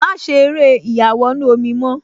Má ṣe eré ìyàwọnù-omi mọ́